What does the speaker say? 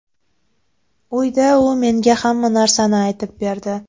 Uyda u menga hamma narsani aytib berdi.